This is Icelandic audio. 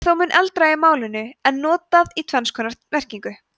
það er þó mun eldra í málinu en notað í tvenns konar merkingu